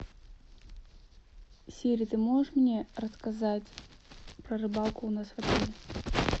сири ты можешь мне рассказать про рыбалку у нас в отеле